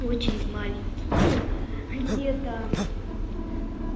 очень маленький ну где-то